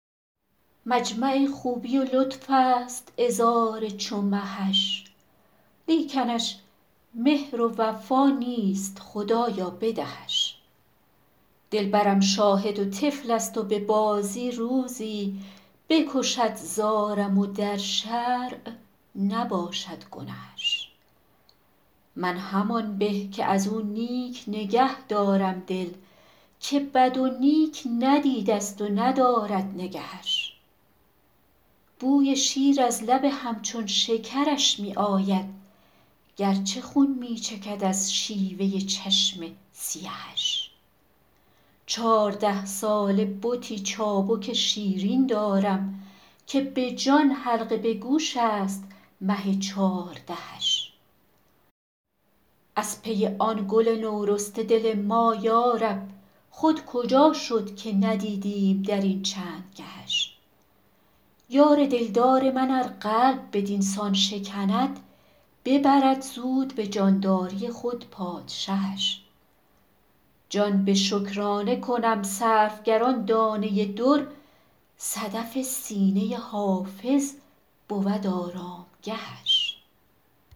مجمع خوبی و لطف است عذار چو مهش لیکنش مهر و وفا نیست خدایا بدهش دلبرم شاهد و طفل است و به بازی روزی بکشد زارم و در شرع نباشد گنهش من همان به که از او نیک نگه دارم دل که بد و نیک ندیده ست و ندارد نگهش بوی شیر از لب همچون شکرش می آید گرچه خون می چکد از شیوه چشم سیهش چارده ساله بتی چابک شیرین دارم که به جان حلقه به گوش است مه چاردهش از پی آن گل نورسته دل ما یارب خود کجا شد که ندیدیم در این چند گهش یار دلدار من ار قلب بدین سان شکند ببرد زود به جانداری خود پادشهش جان به شکرانه کنم صرف گر آن دانه در صدف سینه حافظ بود آرامگهش